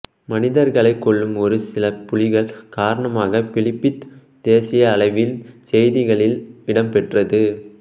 மனிதர்களைக் கொல்லும் ஒரு சில புலிகள் காரணமாக பிலிபித் தேசிய அளவில் செய்திகளில் இடம் பெற்றது